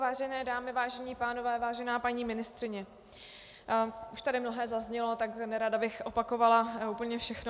Vážené dámy, vážení pánové, vážená paní ministryně, už tady mnohé zaznělo, takže nerada bych opakovala úplně všechno.